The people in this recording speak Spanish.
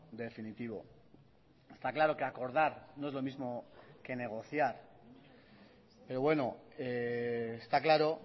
definitivo está claro que acordar no es lo mismo que negociar pero bueno está claro